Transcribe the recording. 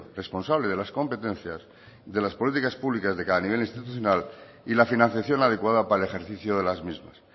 responsable de las competencias de las políticas públicas de cada nivel institucional y la financiación adecuada para el ejercicio de las mismas